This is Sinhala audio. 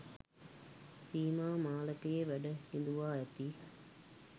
සීමා මාලකයේ වැඩ හිඳුවා ඇති